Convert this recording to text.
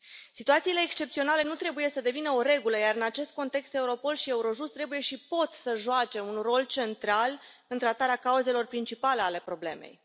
Situațiile excepționale nu trebuie să devină o regulă, iar în acest context, Europol și Eurojust trebuie și pot să joace un rol central în tratarea cauzelor principale ale problemei.